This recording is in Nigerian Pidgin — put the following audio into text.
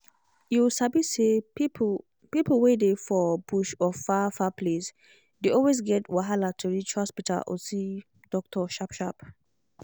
you sabi say people people wey dey for bush or far-far place dey always get wahala to reach hospital or see doctor sharp-sharp.